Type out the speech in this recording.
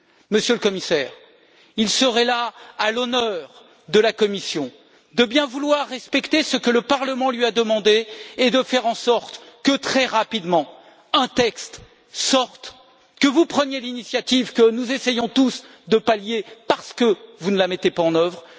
Monsieur le Commissaire, il serait à l'honneur de la Commission de bien vouloir respecter ce que le Parlement lui a demandé et de faire en sorte que, très rapidement, un texte sorte, et que vous preniez l'initiative que nous essayons tous de pallier, parce que vous ne la mettez pas en œuvre.